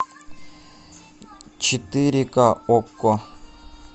четыре ка окко